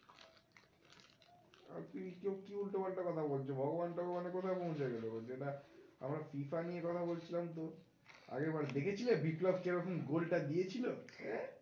আর কি কি উল্টোপাল্টা কথা বলছো? ভগবান টগবানে কোথায় পৌঁছে গেলে? যেটা আমরা FIFA নিয়ে কথা বলছিলাম তো আগের বার দেখেছিলে? বিপ্লব কিরকম গোল টা দিয়ে ছিলো